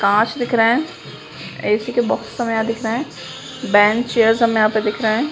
कांच दिख रहे है ऐसी के बॉक्स हमे दिख रहे है बेंच चेयर हमें यहां पे दिख रहे हैं।